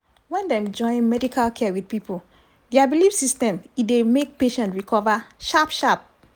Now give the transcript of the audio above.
when dem join medical care with people dia belief system e dey make patient recover sharp sharp.